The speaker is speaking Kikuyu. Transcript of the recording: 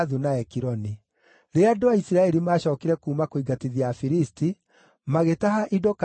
Rĩrĩa andũ a Isiraeli maacookire kuuma kũingatithia Afilisti, magĩtaha indo kambĩ-inĩ ciao.